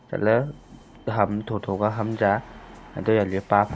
chatle ham tho tho ka ham cha antolale pa--